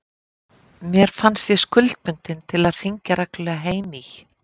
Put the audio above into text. Mér fannst ég skuldbundin til að hringja reglulega heim í